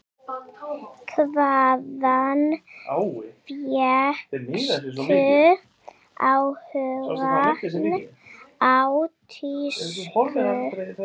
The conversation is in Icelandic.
Hvaðan fékkstu áhugann á tísku?